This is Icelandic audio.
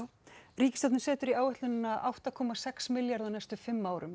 ríkisstjórnin setur í áætlunina átta komma sex milljarðar á næstu fimm árum